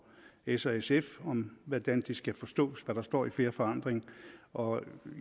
s og sf om hvordan det skal forstås hvad der står i fair forandring og